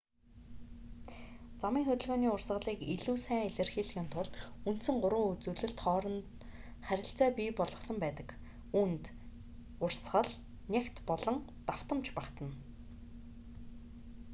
замын хөдөлгөөний урсгалыг илүү сайн илэрхийлэхийн тулд үндсэн гурван үзүүлэлт хооронд харилцаа бий болгосон байдаг үүнд: 1 урсгал 2 нягт болон 3 давтамж багтана